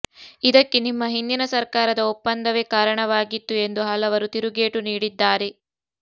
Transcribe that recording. ಇದಕ್ಕೆ ನಿಮ್ಮ ಹಿಂದಿನ ಸರ್ಕಾರದ ಒಪ್ಪಂದವೇ ಕಾರಣವಾಗಿತ್ತು ಎಂದು ಹಲವರು ತಿರುಗೇಟು ನೀಡಿದ್ದಾರೆ